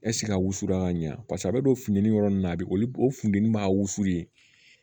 a wusulan ka ɲɛ paseke a bɛ don funtɛni yɔrɔ min na a bi olu funteni m'a wusu ye